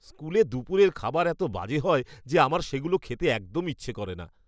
স্কুলে দুপুরের খাবার এত বাজে হয় যে আমার সেগুলো খেতে একদম ইচ্ছে করে না।